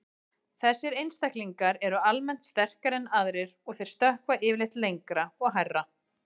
Þessir einstaklingar eru almennt sterkari en aðrir og þeir stökkva yfirleitt lengra og hærra.